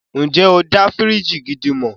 Ǹjẹ́ o dá fíríjì gidi mọ̀?